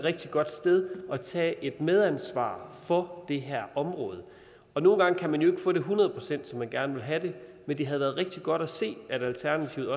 rigtig godt sted at tage et medansvar for det her område nogle gange kan man jo ikke få det et hundrede procent som man gerne vil have det men det havde været rigtig godt at se alternativet